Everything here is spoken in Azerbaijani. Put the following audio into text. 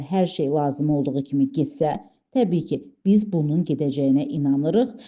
Əgər hər şey lazım olduğu kimi getsə, təbii ki, biz bunun gedəcəyinə inanırıq.